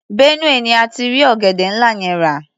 Benue ni a ti rí ọ̀gẹ̀dẹ́ ńlá yẹn rà.